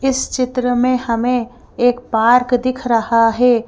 इस चित्र में हमें एक पार्क दिख रहा है।